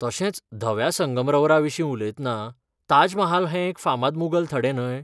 तशेंच, धव्या संगमरवराविशीं उलयतना, ताज महाल हें एक फामाद मुगल थडें न्हय?